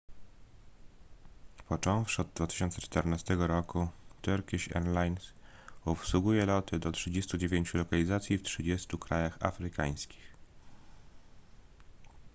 począwszy od 2014 roku turkish airlines obsługuje loty do 39 lokalizacji w 30 krajach afrykańskich